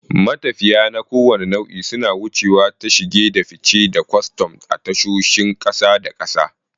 Matafiya na kowane nau'i suna wucewa ta shige da fice da kwastam a tashoshin ƙasa da ƙasa.